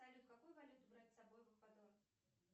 салют какую валюту брать с собой в эквадор